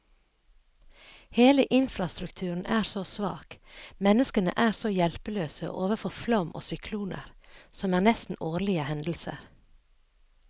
Hele infrastrukturen er så svak, menneskene er så hjelpeløse overfor flom og sykloner, som er nesten årlige hendelser.